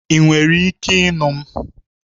Ị nwere ike ịnụ m?